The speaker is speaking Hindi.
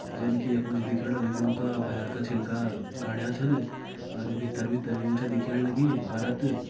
जन की यकमा जी दिखेण लग्यूं का भैर का छिलका गाड्या छन अर भित्तर भित्तर ग्यूँ च दिखेण लगीं परत।